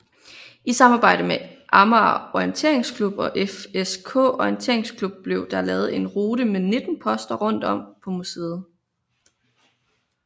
I samarbejde med Amager Orienteringsklub og FSK Orienteringsklub blev der lavet en rute med 19 poster rundt om på museet